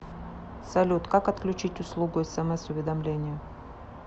салют как отключить услугу смс уведомления